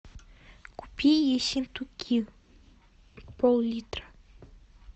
купи ессентуки поллитра